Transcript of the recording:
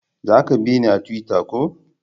Za ki bina a tuwita ko?